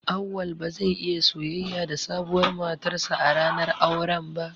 Auwal ba zai iya soyayya da sabuwar matarsa ​​a ranar auren ba.